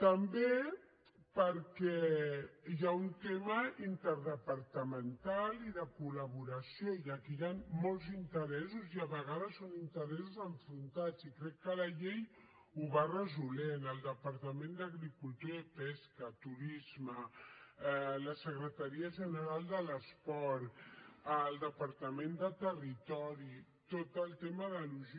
també perquè hi ha un tema interdepartamental i de col·laboració i aquí hi han molts interessos i a vegades són interessos enfrontats i crec que la llei ho va resolent el departament d’agricultura i pesca turisme la secretaria general de l’esport el departament de territori tot el tema de logís